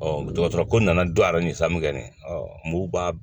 dɔgɔtɔrɔ ko nana don a yɛrɛ ni san bɛ ne b'a